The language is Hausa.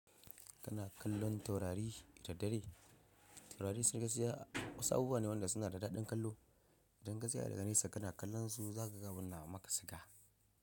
Kana kallon taurari da dare? Taurari su gaskiya wasu abubuwa ne wanda suna da daɗin kallo. Idan ka tsaya daga nesa ka na kallon su za ka ga abunda muka saka.